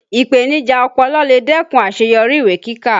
Ipenija ọpọlọ lè dẹ́kun àṣeyọrí ìwé kíkà